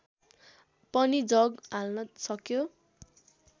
पनि जग हाल्न सक्यो